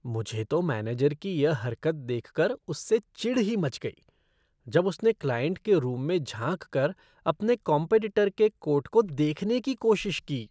मुझे तो मैनेजर की यह हरकत देखकर उससे चिढ़ ही मच गई, जब उसने क्लाइंट के रूम में झांककर अपने कॉम्पेटिटर के कोट को देखने की कोशिश की।